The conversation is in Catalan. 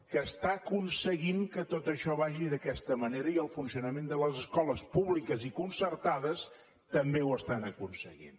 que aconsegueix que tot això vagi d’aquesta manera i el funcionament de les escoles públiques i concertades també ho aconsegueix